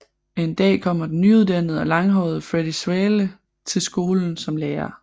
En dag kommer den nyuddannede og langhårede Freddie Svale til skolen som lærer